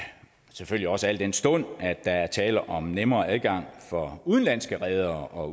selvfølgelig også al den stund at der er tale om nemmere adgang for udenlandske redere